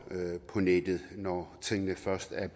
på nettet når tingene først er